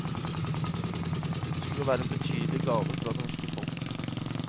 Det skulle være en betydelig gave fra det norske folk.